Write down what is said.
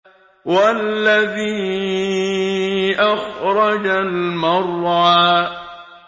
وَالَّذِي أَخْرَجَ الْمَرْعَىٰ